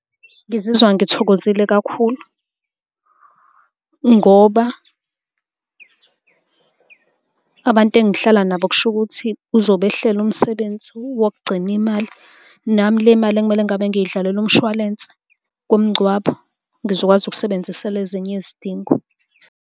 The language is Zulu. Ngizizwa ngithokozile kakhulu ngoba abantu engihlala nabo kushukuthi uzobehlela umsebenzi wokugcina imali. Nami le mali ekumele ngabe ngiyidlalela umshwalense womngcwabo, ngizokwazi ukusebenzisela ezinye izidingo.